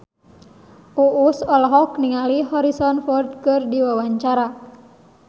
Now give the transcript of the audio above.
Uus olohok ningali Harrison Ford keur diwawancara